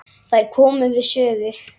Þær komu við sögu.